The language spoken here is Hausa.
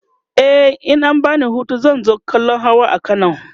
e in an bani Hutu zan zo kallan Hawa a kano